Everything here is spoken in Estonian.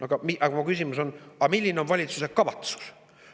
Aga mu küsimus on: milline on valitsuse kavatsus?